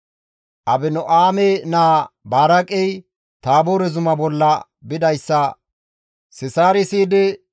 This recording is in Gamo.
Abino7aame naa Baraaqey Taaboore zuma bolla bidayssa Sisaari siyidi,